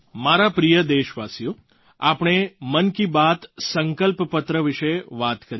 મારા પ્રિય દેશવાસીઓ આપણે મન કી બાત સંકલ્પપત્ર વિશે વાત કરી